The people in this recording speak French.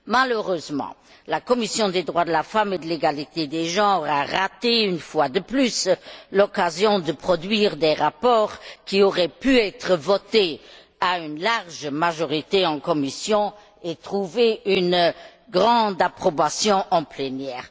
Malheureusement, la commission des droits de la femme et de l'égalité des genres a raté une fois de plus l'occasion de produire des rapports qui auraient pu être votés à une large majorité en commission et trouver une grande approbation en plénière.